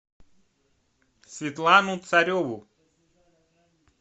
светлану цареву